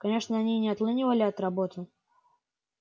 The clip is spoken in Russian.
конечно они не отлынивали от работы